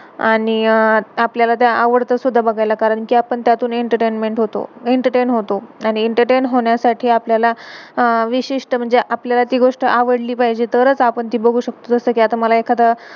आणि आपल्याला आवडतं सुद्धा बघायला, कारण कि आपण त्यातून एंटरटेनमेंट entertainment होतो, एंटरटे entertain होतो. आणि एंटरटेन entertain होण्यासाठी आपल्याला अह विशिष्ट, म्हणजे आपल्याला ती गोष्ट आवडली पाहिजे, तरच आपण ती बघू शकतो. जसं कि मला आता, एखादं